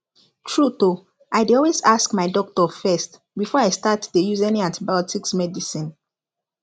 truth o i dey always ask my doctor first before i start dey use any antibiotics medicine